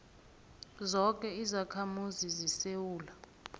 zoke izakhamuzi zesewula